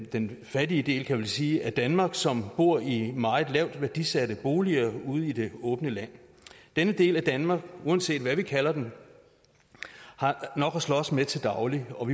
den fattige del kan jeg vel sige af danmark som bor i meget lavt værdisatte boliger ude i det åbne land denne del af danmark uanset hvad man kalder den har nok at slås med til daglig og